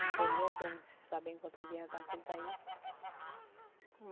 Não estou nem bem sabendo quantos dias já está que ele está aí.